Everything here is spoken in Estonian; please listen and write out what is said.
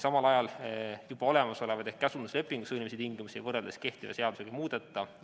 Samal ajal juba olemasolevaid ehk käsunduslepingu sõlmimise tingimusi võrreldes kehtiva seadusega ei muudeta.